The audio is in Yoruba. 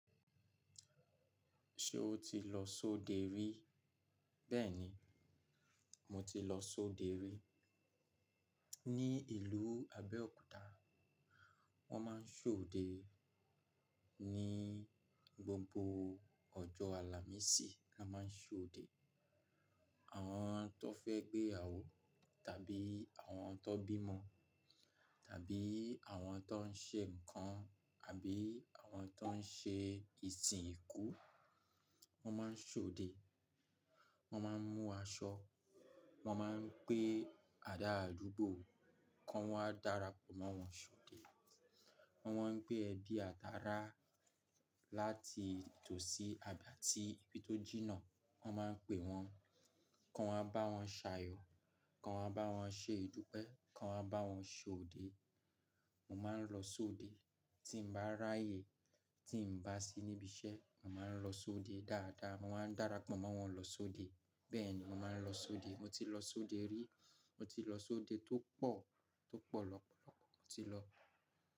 Ṣé o ti lọ sóde rí? Bẹ́ẹ̀ni, mo ti lọ sóde rí. Ni ìlú Abẹ́òkúta, wọn máa ń sóde ní gbogbo ọjọ́ Àlàmísì ni wọn máa ń sóde. Àwọn tó fẹ́ gbéyàwó tàbí àwọn tan bímọ tàbí àwọn tó ń ṣe nǹkan àbí àwọn tó ń ṣe ìsìn ikú, wọn máa ń sóde. Wọn máa ń mú aṣọ, wọn máa ń gbé àdá àdúgbò kí wọ́n ó darapọ̀ mọ́ wọn sóde. Wọn máa ń pé ẹbí àtara láti tòsí àgbà tí ibi tó jìnnà, wọn máa ń pe wọn kí wọ́n máa bá wọn ṣàyọ̀, kí wọ́n máa bá wọn ṣe ìdúpẹ́, kí wọ́n máa bá wọn sóde. Mo máa ń lọ sóde tí n bá ráyè, tí ǹ bá sí níbi iṣẹ́, mo máa ń lọ sóde dáadáa. Mo máa ń darapọ̀ mọ́ wọn lọ sóde. Bẹ́ẹ̀ni, mo máa ń lọ sóde. Mo ti lọ sóde rí. Mo ti lọ sóde tó pọ̀, tó pọ̀ lọ́pọ̀lọpọ̀ mo ti lọ.